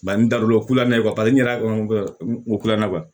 Bari n da don o kulɛrɛn paseke n yɛrɛ kolanna